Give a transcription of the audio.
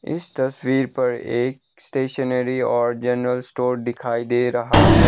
इस तस्वीर पर एक स्टेशनरी और जनरल स्टोर दिखाई दे रहा है।